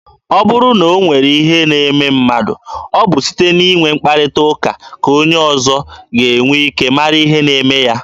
Ọ bụrụ na o nwere ihe na-eme mmadụ, ọ bụ site n'inwe mkparịta ụka ka onye ọzọ ga-enwe ike mara ihe na-eme ya.